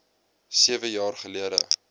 sewe jaar gelede